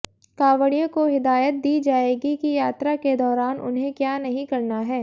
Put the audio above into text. कांवड़ियों को हिदायत दी जायेगी कि यात्रा के दौरान उन्हें क्या नहीं करना है